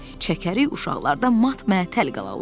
Çəkərik, uşaqlar da mat-məətəl qalarlar.